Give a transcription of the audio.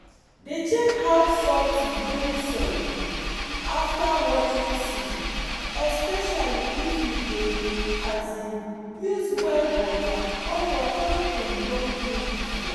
dey check how salty loamy soil be after watering season especially if you dey um use well water or water wey dem don clean before